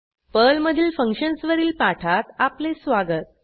पर्लमधील फंक्शन्स वरील पाठात आपले स्वागत